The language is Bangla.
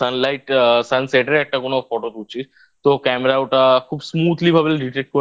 Sunlight বা Sunset এর একটা কোন Photo তুলছিস তো Camera ওটা খুব Smoothly ভাবে Dictated করে